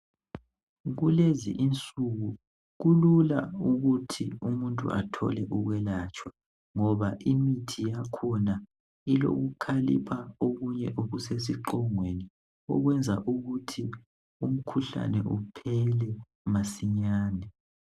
Kulezi insuku kulula ukuthi umuntu athole ukwelatshwa ngoba imithi yakhona ilokukhalipha okunye okusesiqongweni, okwenza ukuthi umkhuhlane uphele masinyane.